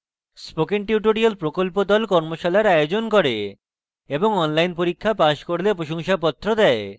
spoken tutorial প্রকল্প the কর্মশালার আয়োজন করে এবং online পরীক্ষা pass করলে প্রশংসাপত্র দেয়